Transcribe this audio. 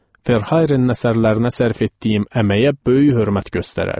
Verhaerenin əsərlərinə sərf etdiyim əməyə böyük hörmət göstərərdi.